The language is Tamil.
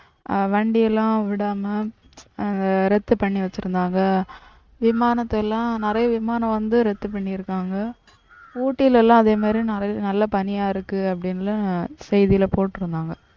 ஆஹ் வண்டியெல்லாம் விடாம ஆஹ் ரத்து பண்ணி வச்சிருந்தாங்க. விமானதெல்லாம் நிறைய விமானம் வந்து ரத்து பண்ணிருக்காங்க. ஊட்டில எல்லாம் அதே மாதிரி நிறைய நல்லா பனியா இருக்கு அப்டினு செய்தில போட்டிருந்தாங்க.